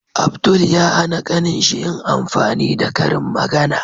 Abdul ya hAna kanin shi yin amfani da karin magAna